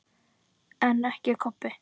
En ekki Kobbi.